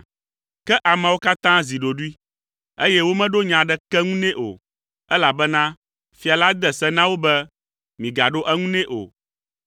Ke ameawo katã zi ɖoɖoe, eye womeɖo nya aɖeke ŋu nɛ o, elabena fia la de se na wo be, “Migaɖo eŋu nɛ o.”